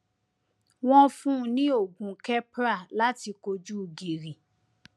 wọn ń fún un ní oògùn keppra láti kojú gìrì